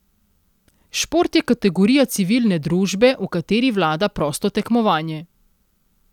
Šport je kategorija civilne družbe, v kateri vlada prosto tekmovanje.